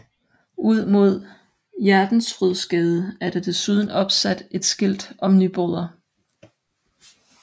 Ud mod Hjertensfrydsgade er der desuden opsat et skilt om Nyboder